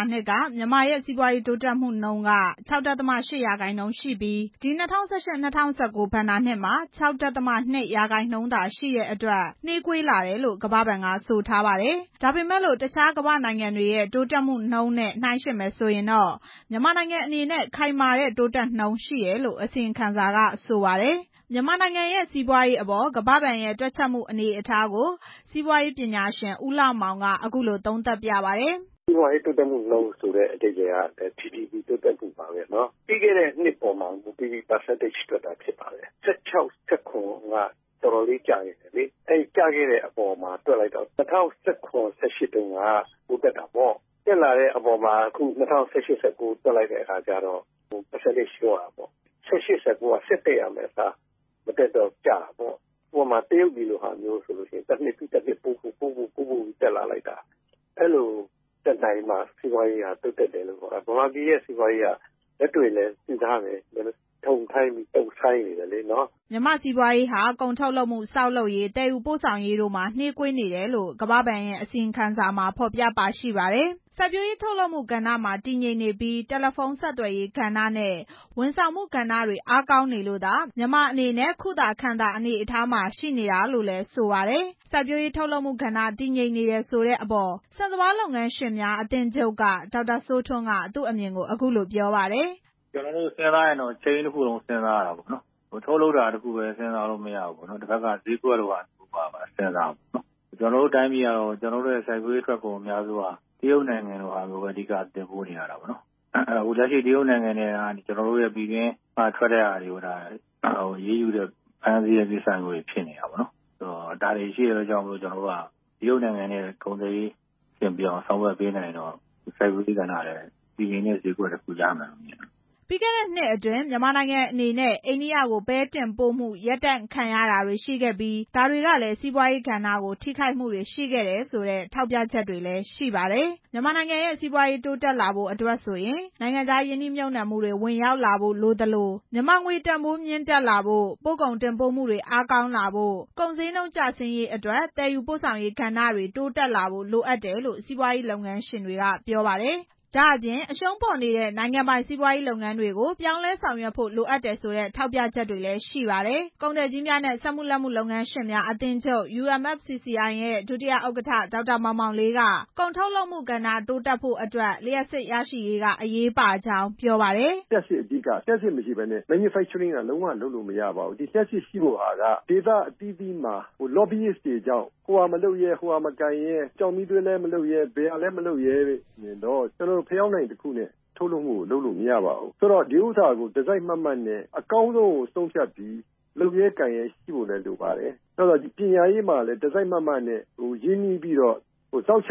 ာနှစ်က မြန်မာရဲ့ စီးပွားရေးတိုးတက်မှုနှုန်းက ၆.၈ ရာခိုင်နှုန်းရှိပြီး ဒီ ၂၀၁၈- ၂၀၁၉ ဘဏ္ဍာနှစ်မှာ ၆.၂ ရာခိုင်နှုန်းသာရှိတဲ့အတွက် နှေးကွေးလာတယ်လို့ ကမ္ဘာဘဏ်က ဆိုထားပါတယ်။ ဒါပေမဲ့လို့ တခြားကမ္ဘာနိုင်ငံတွေရဲ့ တိုးတက်နှုန်းနဲ့ နှိုင်းယှဉ်မယ်ဆိုရင်တော့ မြန်မာနိုင်ငံအနေနဲ့ ခိုင်မာတဲ့ တိုးတက်နှုန်းရှိတယ်လို့ အစီရင်ခံစာက ဆိုပါတယ်။ မြန်မာနိုင်ငံရဲ့ စီးပွားရေးအပေါ် ကမ္ဘာဘဏ်ရဲ့ တွက်ချက်မှု အနေအထားကို စီးပွားရေး ပညာရှင် ဦးလှမောင်က အခုလို သုံးသပ်ပြပါတယ်။ "စီးပွားရေးတိုးတက်မှုနှုန်းဆိုတာ GDP တိုးတက်မှုနှုန်းပါပဲနော်။ ပြီးခဲ့တဲ့ နှစ်ပေါ်မှာ မူတည်ပြီးတွက်တာ။ ၁၆-၁၇ က တော်တော်လေးကျခဲ့တယ်လေ။ အဲဒီကျခဲ့တဲ့အပေါ်မှာတွက်တော့ ၂၀၁၇-၂၀၁၈ က တက်တာပေါ့။ တက်လာတဲ့အပေါ်မှာ ခု ၂၀၁၈-၂၀၁၉ ကို တွက်တဲ့အခါ ရာခိုင်နှုန်းကျတယ်။ တကယ်တော့ ခုနှစ်က ဆက်တက်ရမယ့်ဟာ မတက်တော့ ကျတာပေါ့။ တရုတ်ပြည်လိုဟာမျိုးဆိုရင် တစ်နှစ်ပြီး တစ်နှစ်တက်လာတာ။ အဲဒီလို တက်လာမှ စီးပွားရေး တက်လာတယ်လို့ ပြောလို့ရမှာ။ မြန်မာရဲ့ စီးပွားရေးကတော့ သိတဲ့အတိုင်း ထုံထိုင်း တုံဆိုင်းနေတယ်လေ" မြန်မာစီးပွားရေးဟာ ကုန်ထုတ်လုပ်မှု၊ ဆောက်လုပ်ရေး၊ သယ်ယူပို့ဆောင်ရေးတို့မှာ နှေးကွေးနေတယ်လို့ ကမ္ဘာဘဏ်ရဲ့ အစီရင်ခံစာမှာ ဖော်ပြပါရှိပါတယ်။ စိုက်ပျိုးရေးထုတ်လုပ်မှုကဏ္ဍမှာ တည်ငြိမ်နေပြီး တယ်လီဖုန်း ဆက်သွယ်ရေးကဏ္ဍနဲ့ ဝန်ဆောင်မှုကဏ္ဍတွေ အားကောင်းနေလို့သာ မြန်မာအနေနဲ့ ခုသာခံသာ အနေအထားမှာရှိတာလို့လည်း ဆိုပါတယ်။ စိုက်ပျိုးရေးထုတ်လုပ်မှုကဏ္ဍ တည်ငြိမ်နေတယ်ဆိုတဲ့အပေါ် ဆန်စပါးလုပ်ငန်းရှင်များ အသင်းချုပ်က ဒေါက်တာစိုးထွန်းက သူအမြင်ကို အခုလို ပြောပါတယ်။ "ကျနော်တို့ စဉ်းစားရင်တော့ ထုတ်လုပ်တာတစ်ခုတည်း မဟုတ်ဘဲ ဈေးကွက်ပါစဉ်းစားရမှာပေါ့။ ကျနော်တို့ရဲ့ စိုက်ပျိုးရေးထွက်ကုန်အများစုက တရုတ်နိုင်ငံကိုပဲ အဓိက တင်ပို့နေရတယ်။ တရုတ်နိုင်ငံက ကျနော်တို့ ပြည်တွင်းက ထွက်တဲ့အရာတွေကို ဖမ်းဆီးနေတယ်။တရုတ်နိုင်ငံနဲ့ ကုန်သွယ်ရေးအဆင်ပြေအောင် ဆောင်ရွက်ပေးနိုင်မှ စိုက်ပျိုးရေးကဏ္ဍဟာ တည်ငြိမ်တဲ့ ဈေးကွက်တစ်ခုရမှာ ဖြစ်ပါတယ်" ပြီးခဲ့တဲ့နှစ်အတွင်း မြန်မာနိုင်ငံအနေနဲ့ အန္ဒိယကို ပဲတင်ပို့မှု ရပ်တန့်ခံရတာတွေလည်းရှိခဲ့ပြီး ဒါတွေက စိုက်ပျိုးရေးကဏ္ဍကို ထိခိုက်မှုတွေရှိတယ်ဆိုတဲ့ ထောက်ပြချက်တွေလည်း ရှိပါတယ်။ မြန်မာနိုင်ငံရဲ့ စီးပွားရေးတိုးတက်လာဖို့အတွက် နိုင်ငံခြားရင်းနှီးမြှုပ်နှံမှုတွေ ဝင်ရောက်ဖို့လိုသလို မြန်မာငွေ တန်ဖိုးမြင့်တက်လာဖို့၊ ပို့ကုန်တင်ပို့မှုတွေ အားကောင်းလာဖို့၊ ကုန်ဈေးနှုန်း ကျဆင်းရေးအတွက် သယ်ယူပို့ဆောင်ရေးကဏ္ဍတွေ တိုးတက်လာဖို့ လိုအပ်တယ်လို့ စီးပွားရေးလုပ်ငန်းရှင်တွေက ပြောပါတယ်။ ဒါ့အပြင် အရှုံးပေါ်နေတဲ့ နိုင်ငံပိုင်စီးပွားရေးလုပ်ငန်းတွေကိုလည်း ပြောင်းလဲဆောင်ရွက်ဖို့ လိုအပ်တယ်ဆိုတဲ့ ထောက်ပြချက်တွေလည်း ရှိပါတယ်။ ကုန်သည်ကြီးများနဲ့ စက်မှုလက်မှု လုပ်ငန်းရှင်များအသင်းချုပ် UMFCCI ရဲ့ ဒုတိယ ဥက္ကဋ္ဌ ဒေါက်တာ မောင်မောင်လေးက ကုန်ထုတ်လုပ်မှုကဏ္ဍ တိုးတက်ဖို့အတွက် လျှပ်စစ်ရရှိရေးက အရေးပါကြောင်း ပြောပါတယ်။ "လျှပ်စစ်မရှိဘဲနဲ့ ထုတ်လုပ်မှုကို လုပ်လို့မရဘူး။ ဒေသအသီးသီးမှာ လော်ဘီတွေကြောင့် ကျောက်မီးသွေးလည်း မလုပ်ရဲ ဘာလည်းမလုပ်ရဲဆိုရင် ကျနော်တို့ ဖယောင်းတိုင်နဲ့ ထုတ်လုပ်မှုကို လုပ်လို့မရပါဘူး။ အကောင်းဆုံးကို ဆုံးဖြတ်ပြီး လုပ်ရဲကိုင်ရဲရှိဖို့လိုတယ်။ ပညာရေးမှာ တစိုက်မတ်မတ်နဲ့ ရင်းနှီးပြီးလုပ်ရင်နောက်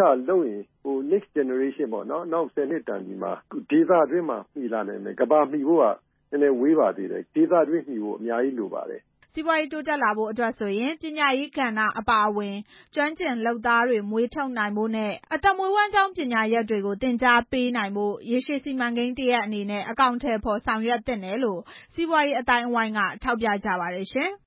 ၁၀ တန်သည်မှာ ဒေသတွင်းမှာမီလာနိုင်ပါတယ်။ ကမ္ဘာမီဖို့က အများကြီးလိုပါသေးတယ်" စီးပွားရေးတိုးတက်လာဖို့ဆိုရင် ပညာရေးကဏ္ဍအပါအဝင် ကျွမ်းကျင်လုပ်သားတွေ မွေးထုတ်နိုင်ဖို့နဲ့ အသက်မွေးဝမ်းကြောင်း ပညာရပ်တွေကို သင်ကြားပေးနိုင်ဖို့ ရေရှည်စီမံကိန်း တစ်ရပ်အနေနဲ့ အကောင်အထည် ဖော်ဆောင်ရွက်သင့်တယ်လို့ စီးပွားရေးအသိုင်းအဝိုင်းက ထောက်ပြကြပါတယ်ရှင်။